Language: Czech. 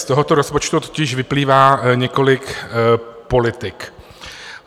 Z tohoto rozpočtu totiž vyplývá několik politik.